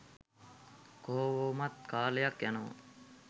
කොහොමත් කාලයක් යනවා